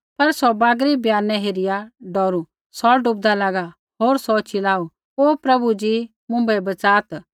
पर सौ बागरी ब्यानै हेरिया डौरू सौ डुबदा लागा होर सौ चिलाऊ ओ प्रभु जी मुँभै बच़ात्